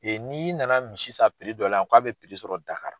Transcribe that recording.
n'i na na misi san dɔ la yan k'a bɛ sɔrɔ Dakari.